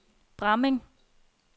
Bramming